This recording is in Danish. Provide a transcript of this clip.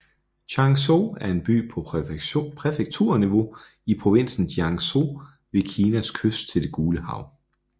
Changzhou er en by på præfekturniveau i provinsen Jiangsu ved Kinas kyst til det Gule Hav